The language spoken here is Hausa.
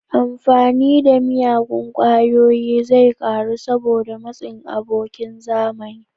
Amfani da miyagun ƙwayoyi zai ƙaru saboda matsin abokan zamani.